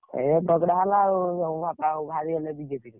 ଏୟା ଝଗଡା ହେଲା ଆଉ ଯୋଉ ବାପା ଆଉ ବାହାରିଗଲେ BJP ରୁ।